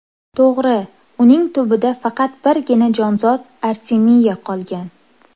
To‘g‘ri, uning tubida faqat birgina jonzot artemiya qolgan.